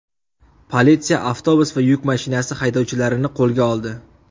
Politsiya avtobus va yuk mashinasi haydovchilarini qo‘lga oldi.